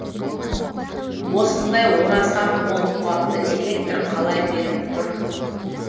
осындай орасан мол қуатты электр қалай беріп тұр